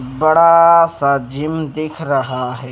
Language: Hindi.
बड़ाआआआ सा जिम दिख रहा है।